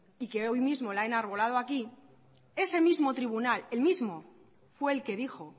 y que hoy mismo la ha enarbolado aquí ese mismo tribunal el mismo fue el que dijo